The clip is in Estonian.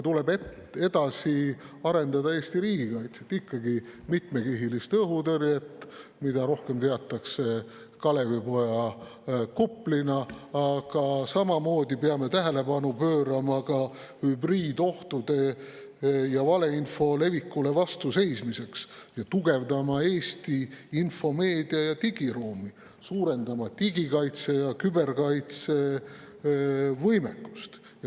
Tuleb edasi arendada Eesti riigikaitset ja mitmekihilist õhutõrjet, mida rohkem teatakse Kalevipoja kuplina, aga samamoodi peame tähelepanu pöörama hübriidohtudele ja valeinfo levikule vastu seismisele ning tugevdama Eesti info‑, meedia‑ ja digiruumi, suurendama digi‑ ja küberkaitse võimekust.